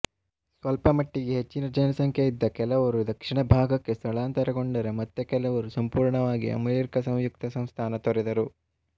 ಸ್ವಲ್ಪಮಟ್ಟಿಗೆ ಹೆಚ್ಚಿನ ಜನಸಂಖ್ಯೆಯಿದ್ದ ಕೆಲವರು ದಕ್ಷಿಣ ಭಾಗಕ್ಕೆ ಸ್ಥಳಾಂತರಗೊಂಡರೆ ಮತ್ತೆ ಕೆಲವರು ಸಂಪೂರ್ಣವಾಗಿ ಅಮೆರಿಕ ಸಂಯುಕ್ತ ಸಂಸ್ಥಾನ ತೊರೆದರು